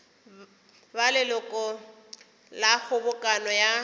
ba leloko la kgobokano ya